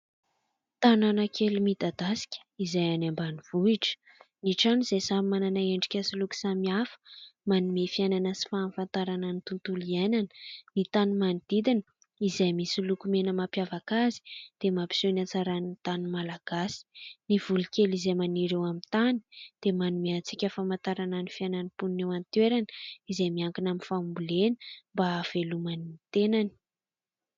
Tanàna kely midadasika izay any ambanivohitra. Ny trano izay samy manana endrika sy loko samy hafa, manome fiainana sy fahafantarana ny tontolo iainana. Ny tany manodidina izay misy loko mena mampiavaka azy dia mampiseho ny hatsaran'ny tany malagasy. Ny voly kely izay maniry eo amin'ny tany dia manome antsika famantarana ny fiainan'ny mponina eo an-toerana izay miankina amin'ny fambolena mba ahaveloman'ny tenany.